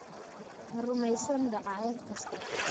Ha rumaysan dacaayad kasta.